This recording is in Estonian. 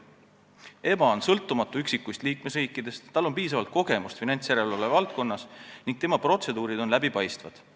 EBA on üksikuist liikmesriikidest sõltumatu, tal on piisavalt kogemust finantsjärelevalve valdkonnas ning tema protseduurid on läbipaistvad.